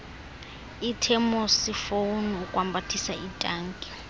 ithemosifoni ukwambathisa itanki